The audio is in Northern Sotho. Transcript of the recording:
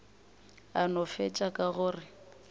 a no fetša ka gore